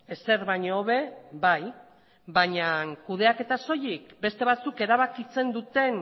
ezer baino hobe bai baina kudeaketa soilik beste batzuk erabakitzen duten